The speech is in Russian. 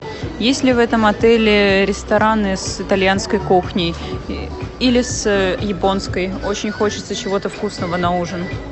есть ли в этом отеле рестораны с итальянской кухней или с японской очень хочется чего то вкусного на ужин